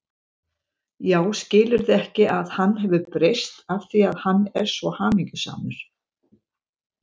Já, skilurðu ekki að hann hefur breyst af því að hann er svo hamingjusamur.